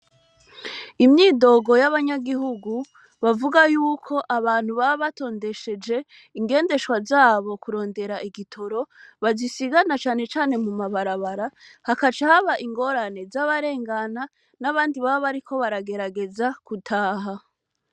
Imyidogo y’abanyagihugu bavuga yuko abantu baba batondesheje ingeshwa zabo kurondera igitoro, bazisiga na cane cane mumabarabara, hagaca haba ingorane z’abarengana n’abandi baba bariko baragerageza gutaha.